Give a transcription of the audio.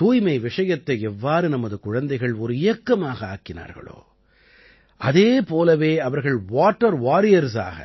தூய்மை விஷயத்தை எவ்வாறு நமது குழந்தைகள் ஒரு இயக்கமாக ஆக்கினார்களோ அதே போலவே அவர்கள் வாட்டர் Warriorsஆக